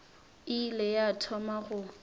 e ile ya thoma go